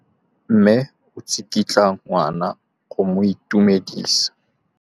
Mme o tsikitla ngwana go mo itumedisa.